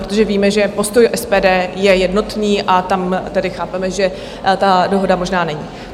Protože víme, že postoj SPD je jednotný a tam tedy chápeme, že ta dohoda možná není.